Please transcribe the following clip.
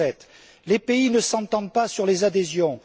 2007. Les pays ne s'entendent pas sur les adhésions.